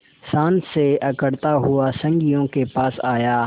शान से अकड़ता हुआ संगियों के पास आया